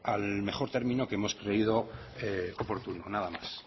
al mejor término que hemos creído oportuno nada más